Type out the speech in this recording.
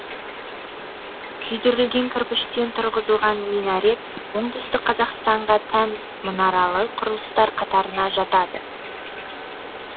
күйдірілген кірпіштен тұрғызылған минарет оңтүстік қазақстанға тән мұнаралы құрылыстар қатарына жатады